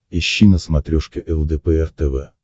ищи на смотрешке лдпр тв